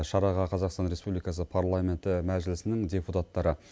шараға қазақстан республикасы парламенті мәжлісінің депутаттары